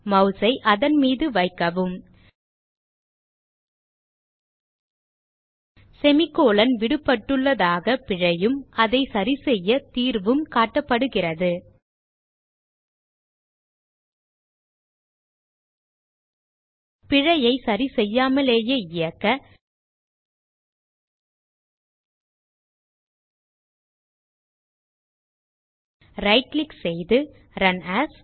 mouse ஐ அதன்மீது வைக்கவும் semi கோலோன் விடுபட்டுள்ளதாக பிழையும் அதை சரிசெய்ய தீர்வும் காட்டப்படுகிறது பிழையை சரிசெய்யாமலேயே இயக்க ரைட் கிளிக் செய்து ரன் ஏஎஸ்